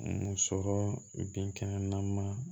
Muso binkɛnɛ na man